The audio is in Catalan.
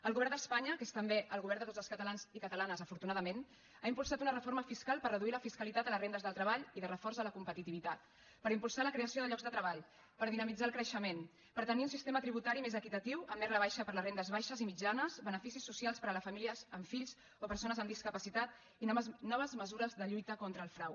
el govern d’espanya que és també el govern de tots els catalans i catalanes afortunadament ha impulsat una reforma fiscal per reduir la fiscalitat a les rendes del treball i de reforç a la competitivitat per impulsar la creació de llocs de treball per dinamitzar el creixement per tenir un sistema tributari més equitatiu amb més rebaixa per a les rendes baixes i mitjanes beneficis socials per a les famílies amb fills o persones amb discapacitat i noves mesures de lluita contra el frau